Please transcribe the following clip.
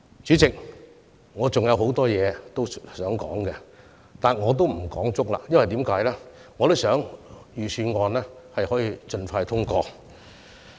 主席，我還想就很多事情表達意見，但我不會用盡發言時間，原因是我想預算案能夠盡快獲得通過。